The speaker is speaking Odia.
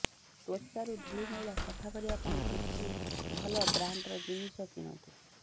ତ୍ୱଚାରୁ ଧୂଳି ମଇଳା ସଫା କରିବା ପାଇଁ କିଛି ଭଲ ବ୍ରାଣ୍ଡର ଜିନିଷ କିଣନ୍ତୁ